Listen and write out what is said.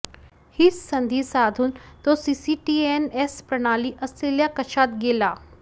हीच संधी साधून तो सीसीटीएनएस प्रणाली असलेल्या कक्षात गेला